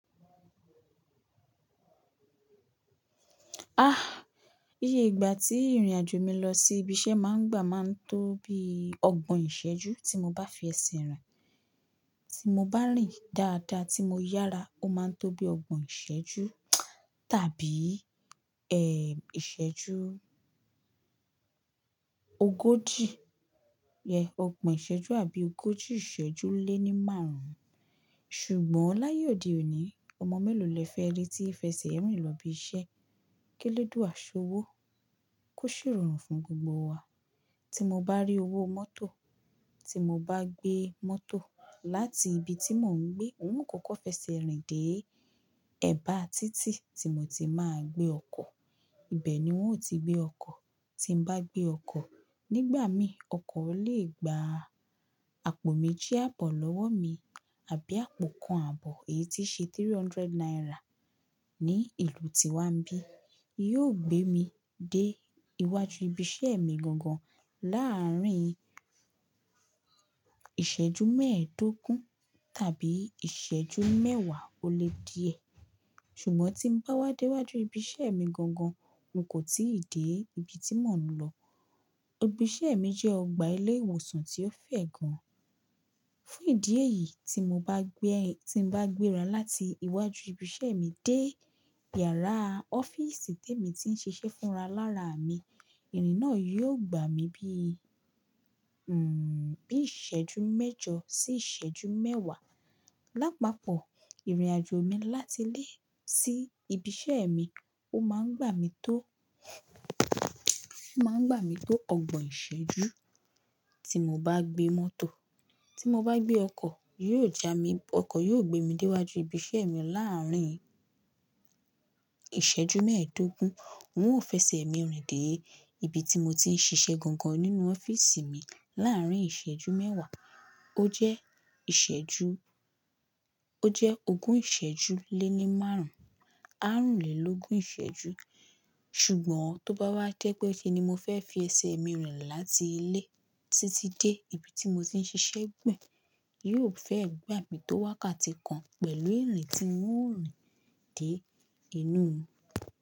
Íye ìgbà tí ìrìnàjò mi lọ sí ibi iṣẹ́ máa ń gbà máa ń tó bí ọgbọ̀n ìṣẹ́jú tí mo bá fi ẹsẹ̀ rìn. Tí mo bá rìn dáadáa tí mo yára, ó máa ń tó bí ọgbọ̀n ìṣẹ́jú tàbí, ìṣẹ́jú ogójì. Yeah, ọgbọ̀n ìṣẹ́jú àbí ogójì ìṣẹ́jú lé ní márùn ún. Ṣùgbọ́n láyé òde òní, ọmọ mélòó le fẹ́ rí tí í fẹ́ sẹ̀ ẹ́ rìn lọ ibi iṣẹ́? K'eledua ṣ'owó? Kó ṣè ìrọrùn fún gbogbo wa. Tí mo bá rí owó mọ́tò, tí mo bá gbé mọ́tò láti ibi tí mò ń gbé, hun o kọkọ f'ẹ́sẹ̀ rìn dé ẹ̀bá títì tí mo ti máa gbé ọkọ̀. Ibẹ̀ ni wọ́n ó ti gbé ọkọ̀. Tí n bá gbé ọkọ̀, nígbà mí, ọkọ̀ lè gba àpò méjì àbọ̀ lọ́wọ́ mi àbí àpò kan àbọ̀, èyí tí ṣe three hundred naira ní ìlú tí wá ń bí. Yóò gbé mi dé iwájú ibi iṣẹ́ mi gangan láàárín ìṣẹ́jú mẹ́ẹ̀ẹ́dógún tàbí ìṣẹ́jú mẹ́wàá ó lé díẹ̀. Ṣùgbọ́n tí n bá wádé wájú ibi iṣẹ́ mi gangan, wọn kò tíì dé ibi tí mò ń lọ. Ibi iṣẹ́ mi jẹ́ ọgbà ilé ìwòsàn tí ó fẹ̀ gan. Fún ìdí èyí, tí mo bá gbé, tí n bá gbéra láti iwájú ibi iṣẹ́ mi dé yàrá ọ́fíìsì tí èmi ti ń ṣiṣẹ́ fúnra lára mi, ìrìn náà yóò gbà mí bí ìṣẹ́jú mẹ́jọ sí ìṣẹ́jú mẹ́wàá. Lápapọ̀ ìrìnàjò mi láti ilé sí ibi iṣẹ́ mi ó máa ń gbà mí tó, ó máa ń gbà mí tó ọgbọ̀n ìṣẹ́jú tí mo bá gbé mọ́tò. Tí mo bá gbé ọkọ̀, yóò ja mi, ọkọ̀ yóò gbé mi dé iwájú ibi iṣẹ́ mi láàárín ìṣẹ́jú mẹ́ẹ̀ẹ́dógún. Un ò f'ẹ́sẹ̀ mi rìn dé ibi tí mo ti ń ṣiṣẹ́ gangan nínú ọ́fíìsì mi láàárín ìṣẹ́jú mẹ́wàá. Ó jẹ́ ìṣẹ́jú, ó jẹ́ ogún ìṣẹ́jú lé ní márùn ún, àrún lé lógun ìṣẹ́jú. Ṣùgbọ́n tó bá wá jẹ́ pé kí ni mo fẹ́ fi ẹsẹ̀ mi rìn láti ilé títí dé ibi tí mo ti ń ṣiṣẹ́ gbẹ̀yìn, yóò fẹ́ gba mi tó wákàtí kan pẹ̀lú ìrìn tí wọn ó rìn dé inú.